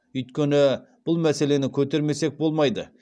өйткені бұл мәселені көтермесек болмайды